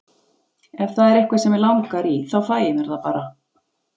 Ef það er eitthvað sem mig langar í þá fæ ég mér það bara.